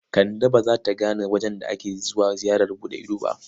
Kande ba za ta gane wajen da ake zuwa ziyarar buɗe ido ba.